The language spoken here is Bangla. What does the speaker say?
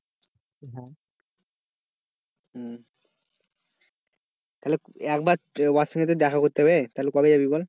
তাহলে একবার তো ওয়ার সঙ্গে তো দেখা করতে হবে তো কবে যাবি বল?